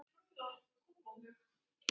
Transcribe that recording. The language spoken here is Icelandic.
Elsku fallegi Einar Darri.